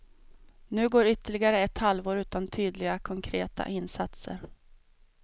Nu går ytterligare ett halvår utan tydliga, konkreta insatser.